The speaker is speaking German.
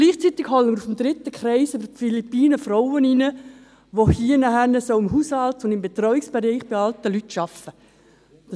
Gleichzeitig holen wir aus dem dritten Kreis – aus den Philippinen – Frauen in die Schweiz, die hier im Haushalts- und Betreuungsbereich bei alten Leuten arbeiten sollen.